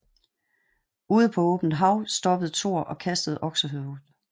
Ude på åbent hav stoppede Thor og kastede oksehovedet